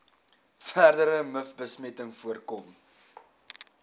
verdere mivbesmetting voorkom